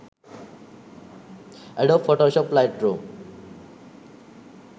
adobe photoshop lightroom